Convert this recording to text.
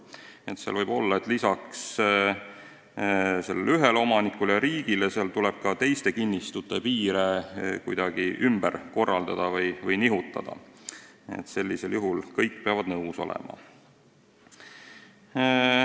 Võib vajalik olla, et lisaks ühele omanikule ja riigile tuleb ka teiste kinnistute piire kuidagi ümber korraldada ja mujale nihutada, sellisel juhul peavad kõik nõus olema.